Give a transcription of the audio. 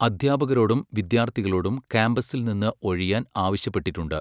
അദ്ധ്യാപകരോടും വിദ്യാർത്ഥികളോടും ക്യാമ്പസിൽ നിന്ന് ഒഴിയാൻ ആവശ്യപ്പെട്ടിട്ടുണ്ട്.